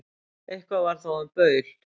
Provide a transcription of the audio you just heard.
Eitthvað var þó um baul